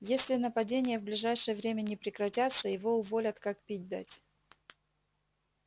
если нападения в ближайшее время не прекратятся его уволят как пить дать